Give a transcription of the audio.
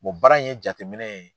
baara in ye jateminɛ ye.